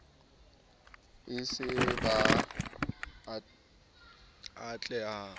se e le ba ahetseng